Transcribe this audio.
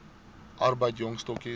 arbeid jong stokkies